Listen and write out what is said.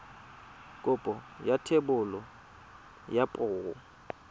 kopo ya thebolo ya poo